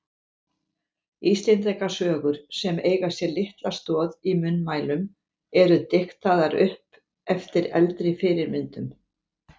Íslendingasögur sem eiga sér litla stoð í munnmælum eru diktaðar upp eftir eldri fyrirmyndum.